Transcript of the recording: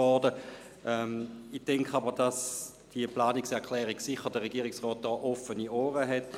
Ich denke aber, dass der Regierungsrat für diese Planungserklärung sicherlich offene Ohren hat.